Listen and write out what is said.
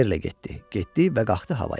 Yerlə getdi, getdi və qalxdı havaya.